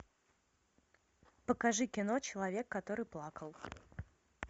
покажи кино человек который плакал